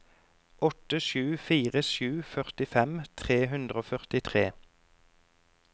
åtte sju fire sju førtifem tre hundre og førtitre